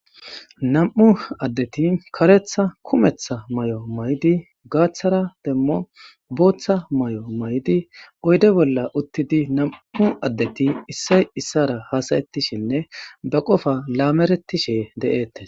Namu'u addeti karetha kumetha mayo mayidi gathara demo batha mayo mayidi oyide bolla uttidi namu'u adeti isoyi isara hasayetishene ba qofa lameretishe detesi